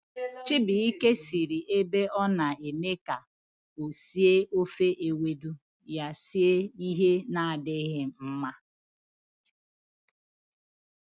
Chibuike siri ebe ọ na eme ka o sie ofe ewedu, ya esie ihe na-adịghi mma